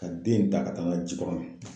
Ka den in ta ka taa n'a ye jikɔrɔni.